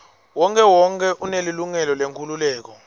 wonkhewonkhe unelilungelo lenkhululeko